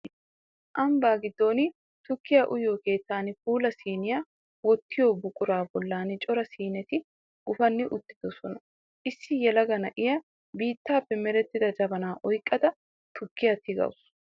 Ambbaa giddon tukkiyaa uyiyoo keettan puula siiniya wottiyo buquraa bollan cora siineti gufanni uttidosona Issi yelaga na'iyaa biittaappe merettida jabanaa oyqqada tukkiyaa tigawusu